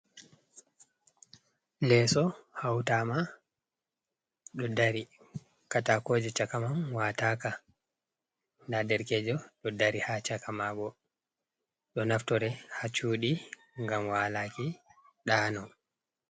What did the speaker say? leeso hauwtaama, ɗo dari, kaataakooje caka man waataaka, ndaa derkeejo do dari ha caka maago, don naftore ha cuuɗi ngam walaaki ɗaano.